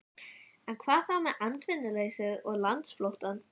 En hvað þá með atvinnuleysið og landflóttann?